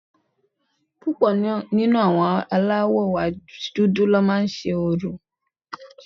Púpọ̀ nínú àwọn aláwọ̀ dúdú ni ó má ń se orò